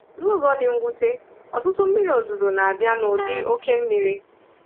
N’ụzọ dị mwute, ọtụtụ mmiri ozuzo na-abịa nụdị oké mmiri.